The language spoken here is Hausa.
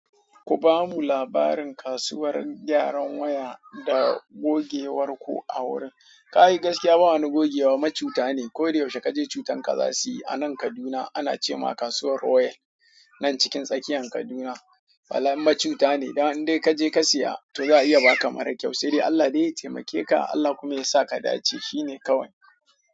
Ku ba mu labarin kasuwar gyaran waya da gogewar ku a wurin. Ka yi gaskiya, ba wani gogewa, macuta ne. Ko da yaushe ka je cutan ka zasuyi a nan Kaduna ana ce ma kasuwar Royal. Nan cikin tsakiyan Kaduna. Falan macuta ne. Dan in dai ka je ka siya to za a iya baka mara kyau. Sai dai Allah de ya taimake ka. Allah kuma ya sa ka dace. Shi ne kawai.